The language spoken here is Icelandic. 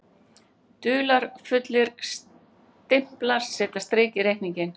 Dularfullir stimplar setja strik í reikninginn